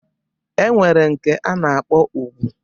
E nwere nke a na-akpọ ùgwù.